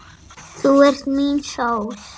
Þú ert mín sól.